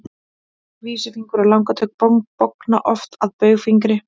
vísifingur og langatöng bogna oft að baugfingri